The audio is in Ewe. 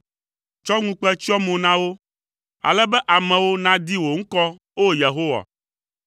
Tsɔ ŋukpe tsyɔ mo na wo, ale be amewo nadi wò ŋkɔ, O Yehowa.